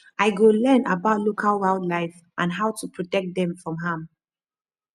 i go learn about local wildlife and how to protect dem from harm